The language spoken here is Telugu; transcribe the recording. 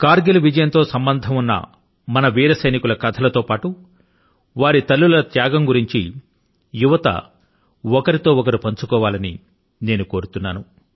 కర్ గిల్ విజయం తో సంబంధం ఉన్న మన వీర సైనికుల కథల తో పాటు వారి తల్లుల త్యాగాన్ని గురించి యువతీయువకులు ఒకరితో మరొకరు పంచుకోవాలని నేను కోరుతున్నాను